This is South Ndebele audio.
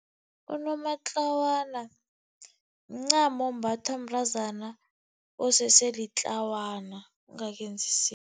Unomatlawana mncamo ombathwa mntazana osese litlawana ongakenzi